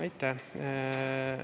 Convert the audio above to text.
Aitäh!